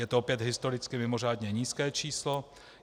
Je to opět historicky mimořádně nízké číslo.